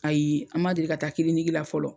Ayi an b'a deli ka taa kilinikila fɔlɔ.